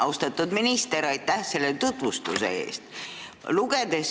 Austatud minister, aitäh selle tutvustuse eest!